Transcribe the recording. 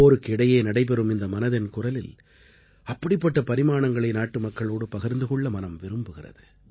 போருக்கு இடையே நடைபெறும் இந்த மனதின் குரலில் அப்படிப்பட்ட பரிமாணங்களை நாட்டுமக்களோடு பகிர்ந்து கொள்ள மனம் விரும்புகிறது